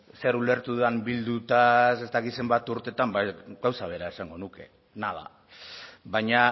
zer ulertu dudan bildutaz ez dakit zenbat urteetan ba gauza bera esango nuke nada baina